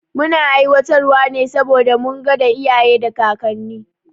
Muna aiwatar wa ne saboda mun gada iyaye da kakanni